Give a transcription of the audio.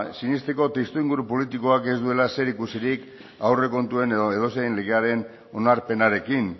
sinesteko testuinguru politikoak ez duela zerikusirik aurrekontuen edo edozein legearen onarpenarekin